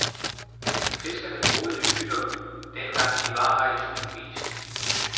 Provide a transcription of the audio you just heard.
Fiskerne boede i hytter, dengang de var her i tusindvis.